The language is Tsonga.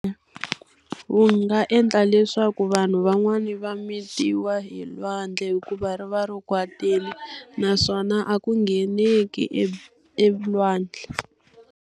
wu nga endla leswaku vanhu van'wani va mitiwa hi lwandle hikuva ri va ri kwatile naswona a ku ngheneki elwandle.